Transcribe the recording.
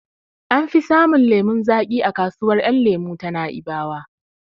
An fi samun lemon zaƙi a kasuwar yan lemo ta Na'ibawa